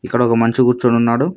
ఇక్కడ ఒక మంచి కూర్చొని ఉన్నాడు.